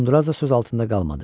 Uzundraz da söz altında qalmadı.